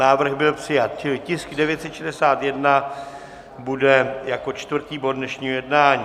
Návrh byl přijat, čili tisk 961 bude jako čtvrtý bod dnešního jednání.